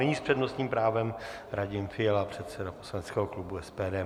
Nyní s přednostním právem Radim Fiala, předseda poslaneckého klubu SPD.